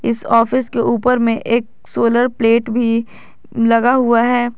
इस ऑफिस के ऊपर में एक सोलर प्लेट भी लगा हुआ है।